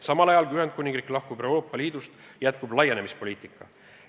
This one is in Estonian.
Samal ajal, kui Ühendkuningriik lahkub Euroopa Liidust, jätkub liidu laienemispoliitika.